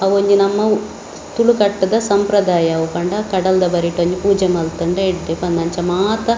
ಅವೋಂಜಿ ನಮ್ಮ ತುಳುಕಟ್ಟ್‌ದ ಸಂಪ್ರದಾಯ ಅವು ಪಂಡ ಕಡಲ್‌ದ ಬರಿಟ್‌ ಒಂಜಿ ಪೂಜೆ ಮಲ್ತುಂಡ ಎಡ್ಡೆ ಪಂದ್‌ ಅಂಚ ಮಾತ.